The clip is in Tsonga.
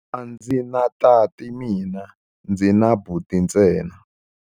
A ndzi na tati mina, ndzi na buti ntsena.